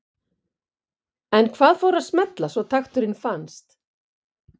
En hvað fór að smella svo takturinn fannst?